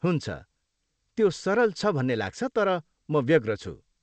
हुन्छ, त्यो सरल छ भन्ने लाग्छ तर म व्यग्र छु।